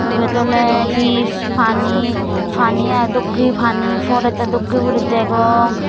iyot oley hi pani pani ai dokkey pani porettey dokkey uri degong.